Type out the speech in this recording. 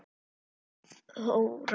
Þín systir Þóra.